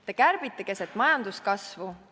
Te kärbite keset majanduskasvu.